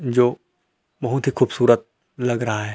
जो बहुत ही खूबसूरत लग रहा है।